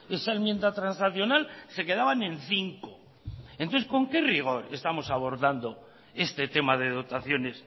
esa enmienda transaccional se quedaban en cinco entonces con qué rigor estamos abordando este tema de dotaciones